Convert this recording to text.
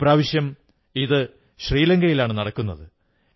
ഇപ്രാവശ്യം ഇത് ശ്രീലങ്കയിലാണ് നടക്കുന്നത്